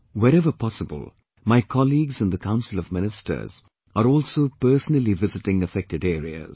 Wherever possible, my colleagues in the Council of Ministers are also personally visiting affected areas